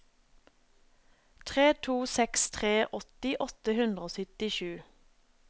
tre to seks tre åtti åtte hundre og syttisju